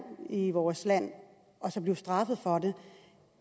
i vores land så bliver straffet for det